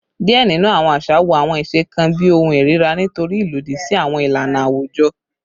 Diẹ ninu awọn aṣa wo awọn iṣe kan bi ohun irira nitori ilodi si awọn ilana awujọ